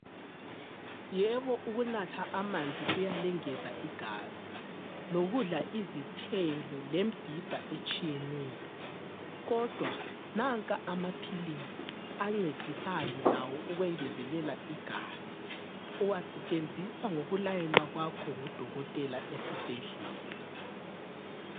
Yebo ukunatha amanzi kuyalengeza igazi lokudla izithelo lembhida etshiyeneyo kodwa nanka amaphilisi ancedisayo lawo ukwengezelela igazi. Uwasetshenziswa ngokulayelwa kwakho ngudokotela esibhedlela.